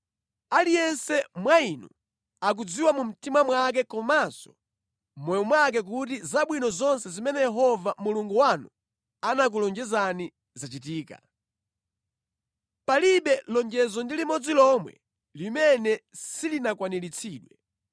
“Aliyense wa inu akudziwa mu mtima mwake komanso mʼmoyo mwake kuti zabwino zonse zimene Yehova Mulungu wanu anakulonjezani zachitika. Palibe lonjezo ndi limodzi lomwe limene silinakwaniritsidwe.